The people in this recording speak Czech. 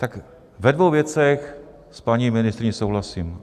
Tak, ve dvou věcech s paní ministryní souhlasím.